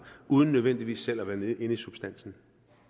uden nødvendigvis selv at være med inde i substansen